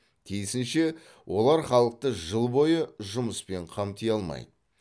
тиісінше олар халықты жыл бойы жұмыспен қамти алмайды